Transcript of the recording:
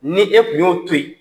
Ni e kun y'o to yen.